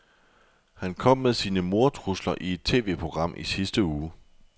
Han kom med sine mordtrusler i et TVprogram i sidste uge.